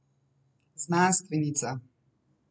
Znanstvenica.